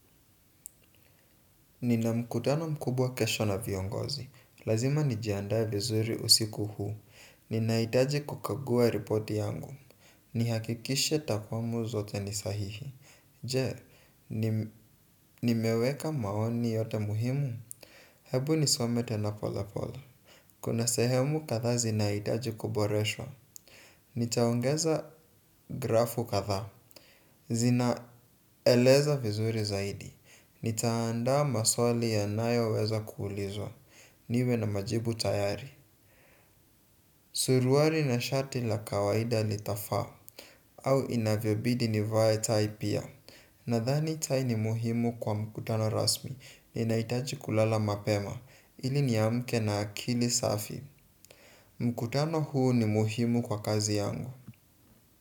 Nina mkutano mkubwa kesho na viongozi. Lazima nijiandae vizuri usiku huu. Nina hitaji kukagua repoti yangu. Ni hakikishe takwamu zote ni sahihi. Je, nimeweka maoni yote muhimu. Hebu nisome tena polepole. Kuna sehemu kadhaa zina hitaji kuboreshwa. Nitaongeza grafu kadhaa. Zina eleza vizuri zaidi. Nita anda maswali yanayo weza kuulizwa niwe na majibu tayari. Suruali na shati la kawaida litafaa. Au inavyobidi nivae tai pia. Nadhani tai ni muhimu kwa mkutano rasmi. Ninahitaji kulala mapema ili niamke na akili safi. Mkutano huu ni muhimu kwa kazi yangu.